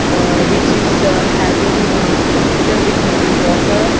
aa which is having aa little bit muddy water.